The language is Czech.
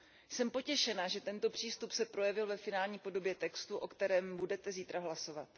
Jsem potěšena, že tento přístup se projevil ve finální podobě textu, o kterém budete zítra hlasovat.